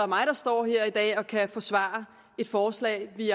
mig der står her i dag og kan forsvare et forslag vi